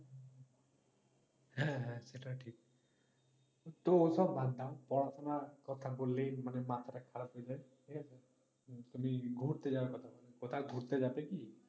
হ্যাঁ হ্যাঁ সেটা ঠিক, তো ওগুলো বাদ দাও পড়াশোনার কথা বললেই মাথাটা খারাপ হয়ে যায় ঠিক আছে? তুমি ঘুরতে যাওয়ার কথা বলো কোথাও ঘুরতে যাবে কি?